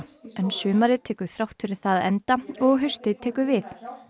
en sumarið tekur þrátt fyrir það enda og haustið tekur við